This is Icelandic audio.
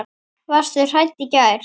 Varstu hrædd í gær eða?